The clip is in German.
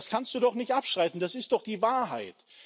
Das kannst du doch nicht abstreiten, das ist doch die Wahrheit.